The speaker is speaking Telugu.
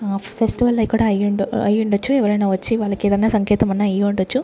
ఫెస్టివల్ కూడా అయి అయి ఉండొచ్చు ఎవరైనా వచ్చి వాళ్ళకి ఏమైనా సంకేతమున్న అయి ఉండొచ్చు.